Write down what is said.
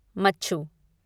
मच्छु